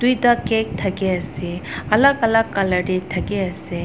eta cake thaki ase alak alak colour te thaki ase.